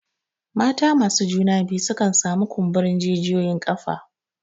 Mata masu juna biyu sukan sami kumburin jijiyoyin ƙafa.